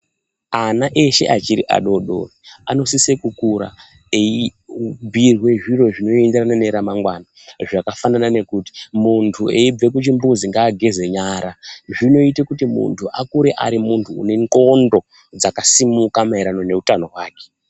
Vana vese vachiri vadodori vanosisa kukura veibhirwa zvinoenderana neramangwna zvakaita sekuti muntu ngageze nyara achinge abva kuchimbuzi zvinoita kuti muntu akure ane ndxondo dzakasimuka maererano nehutano hwake.